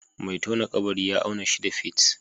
Mai tone kabari ya auna shida fit